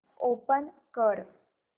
open कर